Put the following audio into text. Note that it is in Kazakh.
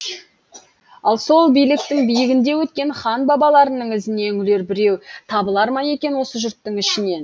ал сол биліктің биігінде өткен хан бабаларының ізіне үңілер біреу табылар ма екен осы жұрттың ішінен